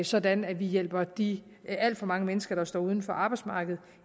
sådan at vi hjælper de alt for mange mennesker der står uden for arbejdsmarkedet